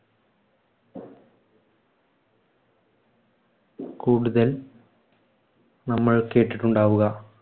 കൂടുതൽ നമ്മൾ കേട്ടിട്ടുണ്ടാവുക.